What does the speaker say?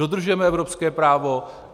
Dodržujeme evropské právo.